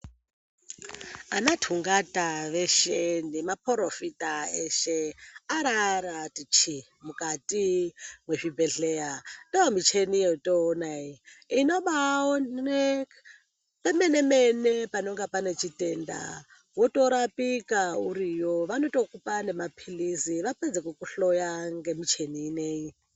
Anathungata veshe nemaphorofita eshe, araarati chiini mukati mwezvibhedhleya. Ndomicheni yotoona iyi, inobaaone pemene-mene panonga pane chitenda, wotorapika uriyo. Vanotokupa nemaphilizi vapedze kukuhloya ngemucheni ineyi.